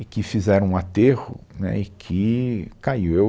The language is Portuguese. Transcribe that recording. e que fizeram um aterro, né, e que caiu, eu